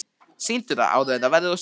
Sýndu það áður en það verður of seint.